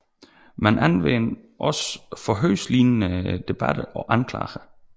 Man anvendte også forhørslignende debatter og anklager